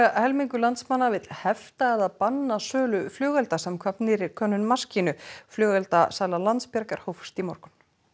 helmingur landsmanna vill hefta eða banna sölu flugelda samkvæmt nýrri könnun maskínu flugeldasala Slysavarnafélagsins Landsbjargar hófst í morgun